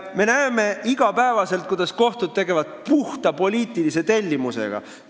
Me näeme iga päev, kuidas kohtud tegelevad puhta poliitilise tellimusega.